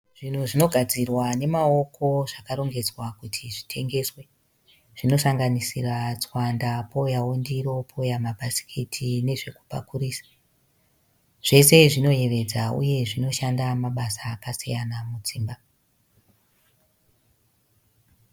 Zvinhu zvinogadzirwa nemaoko zvakarongedzwa kuti zvitengeswe. Zvinosanganisira tswanda pouyawo ndiro pouya mabhasikiti nezvekupakurisa. Zvose zvinoyevedza uye zvinoshanda mabasa akasiyana mudzimba.